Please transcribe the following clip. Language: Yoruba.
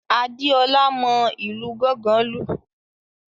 Adeola mọ ìlù gángan lu.